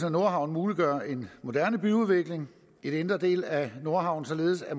af nordhavnen muliggør en moderne byudvikling i den indre del af nordhavnen således at